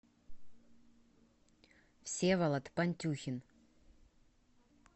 всеволод пантюхин